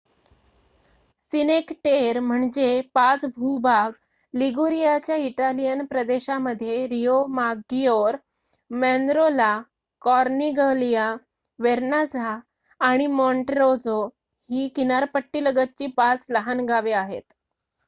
सिनेक Terre म्हणजे पाच भूभाग लिगुरियाच्या इटालियन प्रदेशामध्ये रिओमाग्गीओर मॅनरोला कॉर्निगलिया वेर्नाझा आणि मॉन्टरोझो ही किनारपट्टीलगतची पाच लहान गावे आहेत